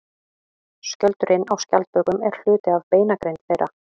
Skjöldurinn á skjaldbökum er hluti af beinagrind þeirra.